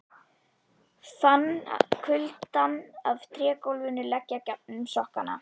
Hann fann kuldann af trégólfinu leggja gegnum sokkana.